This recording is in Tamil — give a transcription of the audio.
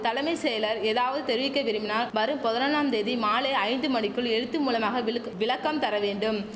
தலமை செயலர் ஏதாவது தெரிவிக்க விரும்பினால் வரும் பதினெண்ணாம் தேதி மாலை ஐந்து மணிக்குள் எழுத்து மூலமாக விளுக்கு விளக்கம் தர வேண்டும்